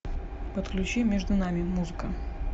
подключи между нами музыка